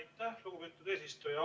Aitäh, lugupeetud eesistuja!